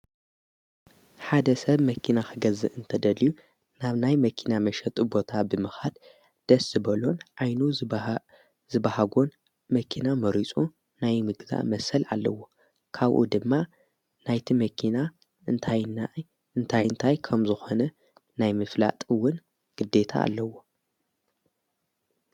ሓደ ሰብ መኪና ኽገዝ እንተደልዩ ናብ ናይ መኪና መሸጡ ቦታ ብምኻድ ደስ ዝበሎን ኣይኑ ዝበሃጎን መኪና መሪጹ ናይ ምግዛ መሰል ኣለዎ ካውኡ ድማ ናይቲ መኪና እንታይ ዓይነት ከምዝኾነ ናይ ምፍላጥ ግዲታ ኣለዎ።